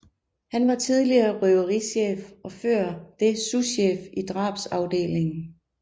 Han var tidligere røverichef og før det souschef i drabsafdelingen